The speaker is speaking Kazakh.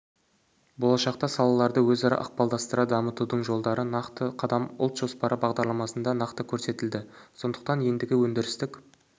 болашақта салаларды өзара ықпалдастыра дамытудың жолдары нақты қадам ұлт жоспары бағдарламасында нақты көрсетілді сондықтан ендігі өндірістік